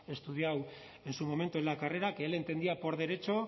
estudiado en su momento en la carrera que él entendía por derecho